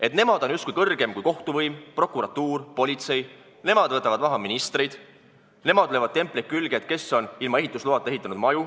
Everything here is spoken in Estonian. Et nemad on justkui kõrgem kui kohtuvõim, prokuratuur, politsei, nemad võtavad maha ministreid, nemad löövad templeid külge, et keegi on ilma ehitusloata maju ehitanud.